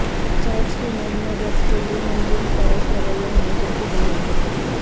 church کے نظم و ضبط کے لئے ہم جنس پرست رویہ ہمیشہ کی بنیادیں